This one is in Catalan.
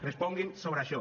responguin sobre això